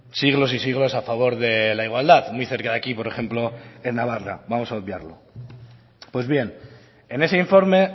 siglos y siglos a favor de la igualdad muy cerca de aquí por ejemplo en navarra vamos a obviarlo pues bien en ese informe